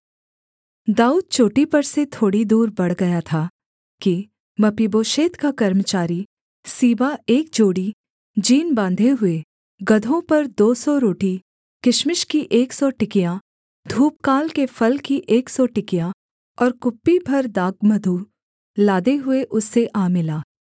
दाऊद चोटी पर से थोड़ी दूर बढ़ गया था कि मपीबोशेत का कर्मचारी सीबा एक जोड़ी जीन बाँधे हुए गदहों पर दो सौ रोटी किशमिश की एक सौ टिकियाँ धूपकाल के फल की एक सौ टिकियाँ और कुप्पी भर दाखमधु लादे हुए उससे आ मिला